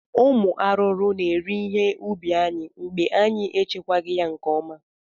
Ụmụ arụrụ na-eri ihe ubi anyị mgbe anyị na-echekwaghị ya nke ọma